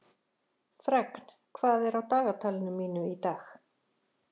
Fregn, hvað er á dagatalinu mínu í dag?